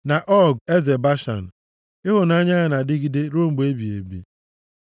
Na Ọg eze Bashan, Ịhụnanya ya na-adịgide ruo mgbe ebighị ebi.